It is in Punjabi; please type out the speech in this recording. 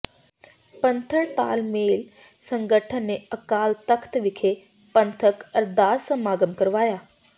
ਪੰਥਕ ਤਾਲਮੇਲ ਸੰਗਠਨ ਨੇ ਅਕਾਲ ਤਖ਼ਤ ਵਿਖੇ ਪੰਥਕ ਅਰਦਾਸ ਸਮਾਗਮ ਕਰਵਾਇਆ